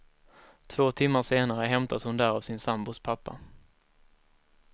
Två timmar senare hämtas hon där av sin sambos pappa.